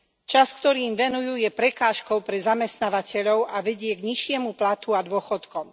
Čas, ktorý im venujú, je prekážkou pre zamestnávateľov a vedie k nižšiemu platu a dôchodkom.